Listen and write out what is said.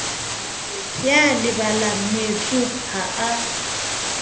ya lebalang moetsuwa ha a